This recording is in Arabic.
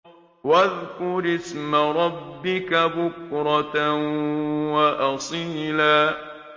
وَاذْكُرِ اسْمَ رَبِّكَ بُكْرَةً وَأَصِيلًا